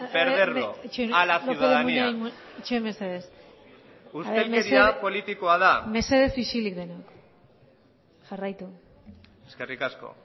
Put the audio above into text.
perderlo mesedes isilik lópez de munain itxaron mesedez mesedez isilik egon jarraitu eskerrik asko